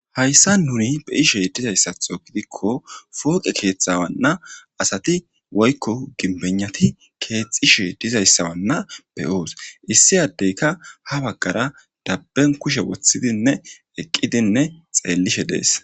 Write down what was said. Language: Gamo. Hayssa nuni be ishe dizayssatho gidikko fooqe keetthawanna asati woykko ginbennati keexxishe dizayssawanna beyoos issi addeyka ha baggara dabben kushe woththidinne eqqidinne xeellishe dees